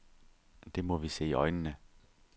Det må vi se i øjnene.